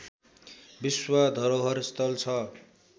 विश्व धरोहर स्थल छ